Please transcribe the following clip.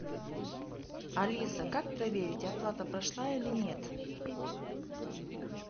алиса как проверить оплата прошла или нет